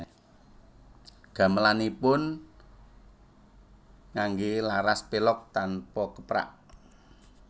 Gamelanipun nganggé laras pelog tanpa keprak